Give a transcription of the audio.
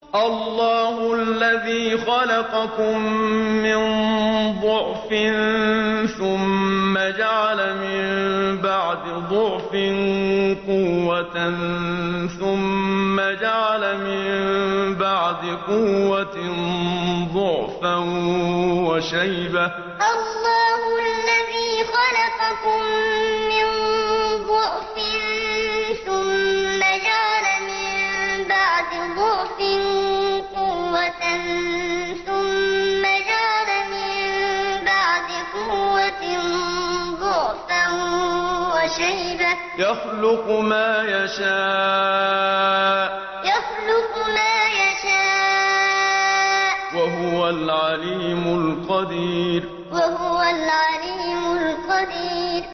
۞ اللَّهُ الَّذِي خَلَقَكُم مِّن ضَعْفٍ ثُمَّ جَعَلَ مِن بَعْدِ ضَعْفٍ قُوَّةً ثُمَّ جَعَلَ مِن بَعْدِ قُوَّةٍ ضَعْفًا وَشَيْبَةً ۚ يَخْلُقُ مَا يَشَاءُ ۖ وَهُوَ الْعَلِيمُ الْقَدِيرُ ۞ اللَّهُ الَّذِي خَلَقَكُم مِّن ضَعْفٍ ثُمَّ جَعَلَ مِن بَعْدِ ضَعْفٍ قُوَّةً ثُمَّ جَعَلَ مِن بَعْدِ قُوَّةٍ ضَعْفًا وَشَيْبَةً ۚ يَخْلُقُ مَا يَشَاءُ ۖ وَهُوَ الْعَلِيمُ الْقَدِيرُ